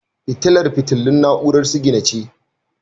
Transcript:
Fitilar fitilun na'urar sigina ce.